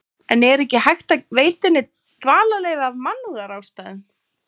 En er ekki hægt að veita henni dvalarleyfi af mannúðarástæðum?